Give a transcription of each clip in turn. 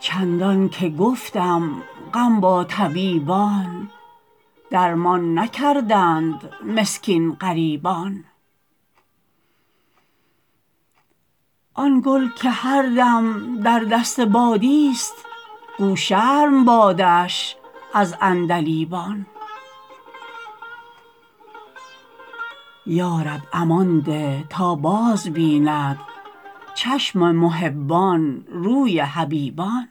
چندان که گفتم غم با طبیبان درمان نکردند مسکین غریبان آن گل که هر دم در دست بادیست گو شرم بادش از عندلیبان یا رب امان ده تا بازبیند چشم محبان روی حبیبان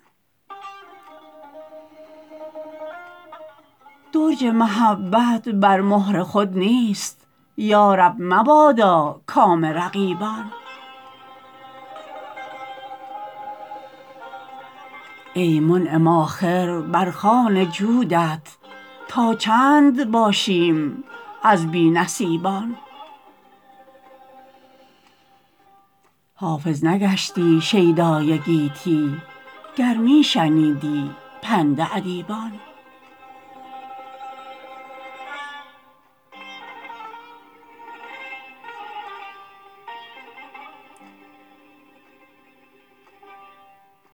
درج محبت بر مهر خود نیست یا رب مبادا کام رقیبان ای منعم آخر بر خوان جودت تا چند باشیم از بی نصیبان حافظ نگشتی شیدای گیتی گر می شنیدی پند ادیبان